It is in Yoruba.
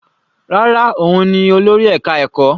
Rárá, òun ni olórí ẹka ẹ̀kọ́.